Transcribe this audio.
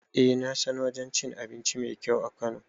Eh nasan wajen cin abinci mai kyau a kano